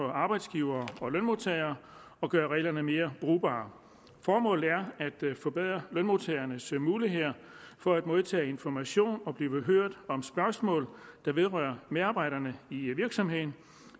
arbejdsgivere og lønmodtagere og gøre reglerne mere brugbare formålet er at forbedre lønmodtagernes muligheder for at modtage information og blive hørt om spørgsmål der vedrører medarbejderne i virksomheden